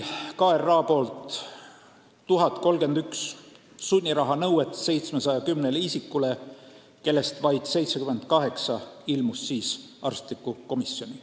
KRA esitas 1031 sunniraha nõuet 710 isikule, kellest vaid 78 ilmus siis arstlikku komisjoni.